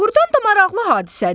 Doğrudan da maraqlı hadisədir.